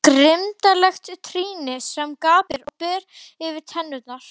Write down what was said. Grimmdarlegt trýni sem gapir og berar tennurnar.